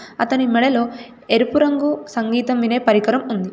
అతని మెడలో ఎరుపు రంగు సంగీతం వినే పరికరం ఉంది.